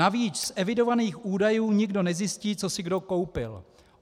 Navíc z evidovaných údajů nikdo nezjistí, co si kdo koupil.